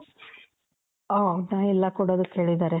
ಓ ಹೌದಾ ಎಲ್ಲಾ ಕೊಡೋದಿಕ್ಕೆ ಹೇಳಿದಾರೆ.